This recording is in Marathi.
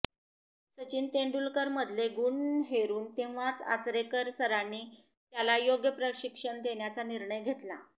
सचिन तेंडुलकरमधले गुण हेरून तेव्हाच आचरेकर सरांनी त्याला योग्य प्रशिक्षण देण्याचा निर्णय घेतला